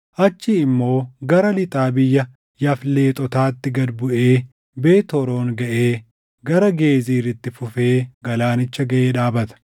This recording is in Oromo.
Achii immoo gara lixaa biyya Yafleexotaatti gad buʼee Beet Horoon gaʼee gara Geezir itti fufee galaanicha gaʼee dhaabata.